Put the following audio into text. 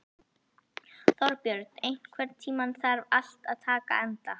Þorbjörn, einhvern tímann þarf allt að taka enda.